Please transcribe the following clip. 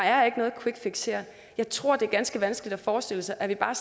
er noget quickfix her jeg tror det er ganske vanskeligt at forestille sig at vi bare